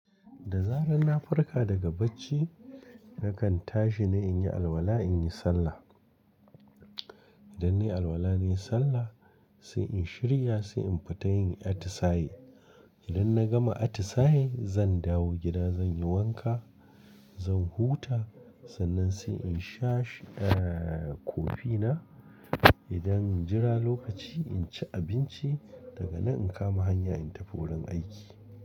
Da zaran na farka daga bacci, na kan tashi na in yi alwala, in yi sallah. Idan na yi alwala, na yi sallah sai in shirya, sai in fita yin atisaye. Idan na gama atisaye, zan dawo gida, zan yi wanka, zan huta sannan sai in sha kofi na. Idan injira lokaci, in ci abinci daga nan in kama hanya in tafi wurin aiki.